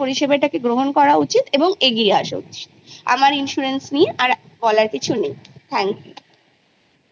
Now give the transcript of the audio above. পরিসেবা গ্রহণ করা উচিত ও এগিয়ে আসা উচিত আামার insurance নিয়ে আর বলার কিছু নেই। thank you